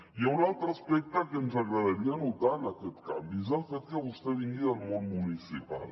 hi ha un altre aspecte que ens agradaria notar en aquest canvi és el fet que vostè vingui del món municipal